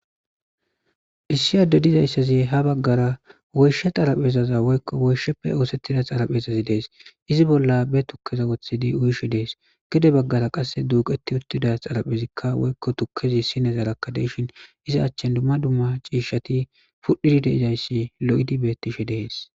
Issi addezi ha baggara woyshe xarapheza woyikko woyishshappe oosettiza xaraphezay dees .xarapheza bolla be tukkeza woththidi uyishe de7ees gede baggara qasse duuqetti uttida xaraphezi woyiko tukkezi sinezara duuqetti uttishin iza accani dumma dumma ciishshati pudhdhidi dizayssi lo7idi beettees.